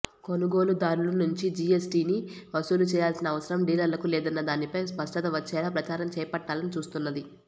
కొనుగోలుదారుల నుంచే జీఎస్టీని వసూలు చేయాల్సిన అవసరం డీలర్లకు లేదన్న దానిపై స్పష్టత వచ్చేలా ప్రచారం చేపట్టాలని చూస్తున్నది